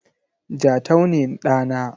Jatau ne ɗa na.